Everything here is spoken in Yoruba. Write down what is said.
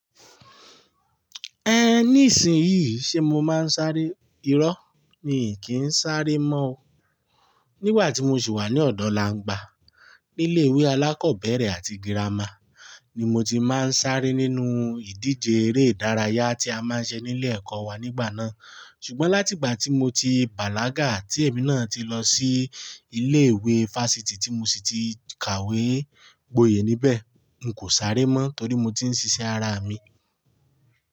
Ẹ ní ìsìn yìí ṣe mo máa ń sáré? Irọ́ ni, kì í sáré mọ́ o. Nígbà tí mo sì wà ní ọ̀dọ̀ Langba, ní ilé ìwé alákọ̀ọ́bẹ̀rẹ̀ àti girama ni mo ti máa ń sáré nínú ìdíje eré ìdárayá tí a máa ń ṣe nílé ẹ̀kọ́ wa nígbà náà. Ṣùgbọ́n láti ìgbà tí mo ti bàlágà tí èmi náà ti lọ sí ilé ìwé varsity tí mo sì ti kàwé gboyè níbẹ̀, n kò sáré mọ́ torí mo ti ń ṣiṣẹ́ ara mi.